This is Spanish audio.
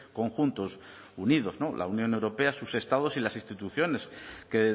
conjuntos unidos la unión europea sus estados y las instituciones que